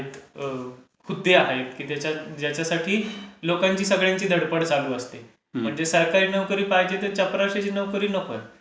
हुद्दे आहेत की लोकांची सगळ्यांची धडपड चालू असते. म्हणजे सरकारी नोकरी पाहिजे तर चपरशाची नोकरी नकोय.